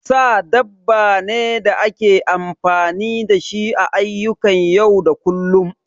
Sa dabba ne da ake amfani da shi a ayyukan yau da kullum